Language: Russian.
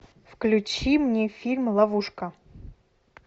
включи мне фильм ловушка